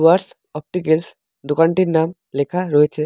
Dooars opticals দোকানটির নাম লেখা রয়েছে।